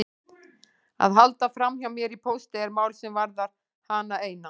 Að halda framhjá mér í pósti er mál sem varðar hana eina.